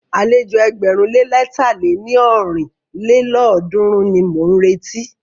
Àlejò ẹgbẹ̀rún lé lẹ̀ta lé ní ọ́rin lélọ́ọ̀dúnrún ni mọ̀ ń retí.